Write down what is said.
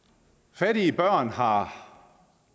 fattige børn har